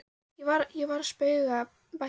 Ég var að spauga, bætti hann við.